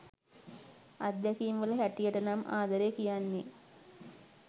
අත්දැකීම් වල හැටියටනම් ආදරේ කියන්නෙ